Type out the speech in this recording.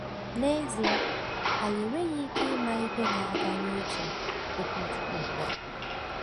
N'ezie, anyị enweghị ike ịma ihe na-aga n'uche Okwuchukwu ugbu a.